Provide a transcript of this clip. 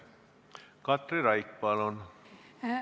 Katri Raik, palun!